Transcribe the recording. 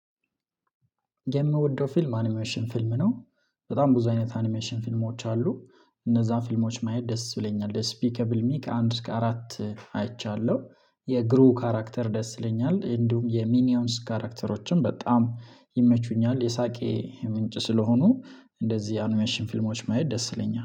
የምወደው ፊልም አኒሜሽን ፊልም ነው። በጣም ብዙ አይነት አኒሜሽን ፊልሞች አሉ። እነዛን ፊልሞች ማየት ደስ ብለኛል ደስፒከብል ሚክ ከአንድ እስከ አራት አይቻለሁ። የግሩ ካራክተር ደስ ብለኛል እንዲሁም የሚኒየምስ ካራክተሮችን በጣም ይመቹኛል። የሳቄ ምንጭ ስለሆኑ እንደዚህ ያንን አኒሜሽሽን ፊልሞች ማየት ደስ ይለኛል